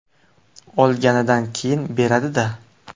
Olganidan keyin beradi-da.